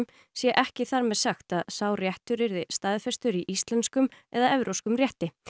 sé ekki þar með sagt að sá réttur yrði staðfestur í íslenskum eða evrópskum rétti